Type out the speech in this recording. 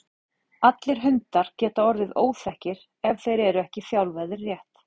Allir hundar geta orðið óþekkir ef þeir eru ekki þjálfaðir rétt.